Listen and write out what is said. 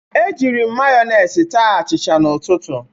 Ejiri m mayonis taa achicha n'ụtụtụ.